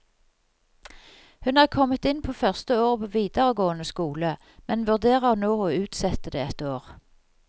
Hun er kommet inn på første året på videregående skole, men vurderer nå å utsette det et år.